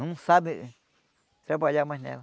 Não sabe trabalhar mais nela.